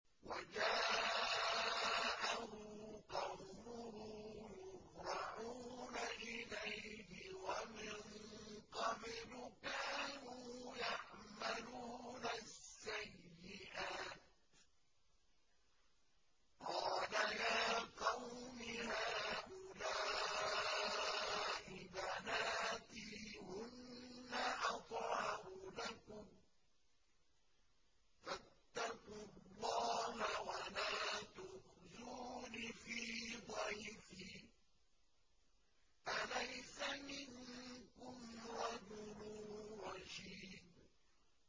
وَجَاءَهُ قَوْمُهُ يُهْرَعُونَ إِلَيْهِ وَمِن قَبْلُ كَانُوا يَعْمَلُونَ السَّيِّئَاتِ ۚ قَالَ يَا قَوْمِ هَٰؤُلَاءِ بَنَاتِي هُنَّ أَطْهَرُ لَكُمْ ۖ فَاتَّقُوا اللَّهَ وَلَا تُخْزُونِ فِي ضَيْفِي ۖ أَلَيْسَ مِنكُمْ رَجُلٌ رَّشِيدٌ